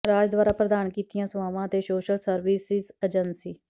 ਰਾਜ ਦੁਆਰਾ ਪ੍ਰਦਾਨ ਕੀਤੀਆਂ ਸੇਵਾਵਾਂ ਅਤੇ ਸੋਸ਼ਲ ਸਰਵਿਸਿਜ਼ ਏਜੰਸੀ